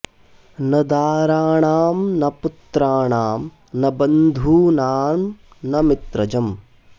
न दाराणां न पुत्राणां न बन्धूनां न मित्रजम्